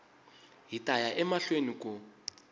hi ta ya emahlweni ku